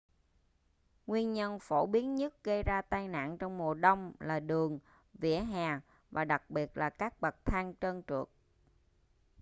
nguyên nhân phổ biến nhất gây ra tai nạn trong mùa đông là đường vỉa hè và đặc biệt là các bậc thang trơn trượt